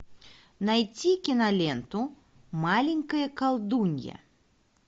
найти киноленту маленькая колдунья